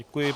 Děkuji.